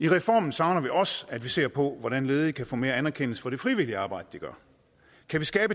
i reformen savner vi også at man ser på hvordan ledige kan få mere anerkendelse for det frivillige arbejde de gør kan vi skabe